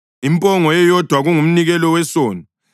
impongo eyodwa kungumnikelo wesono;